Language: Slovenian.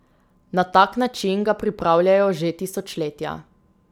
Na tak način ga pripravljajo že tisočletja.